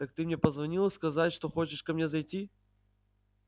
так ты мне позвонила сказать что хочешь ко мне зайти